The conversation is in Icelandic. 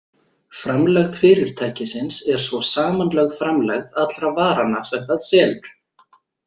Framlegð fyrirtækisins er svo samanlögð framlegð allra varanna sem það selur.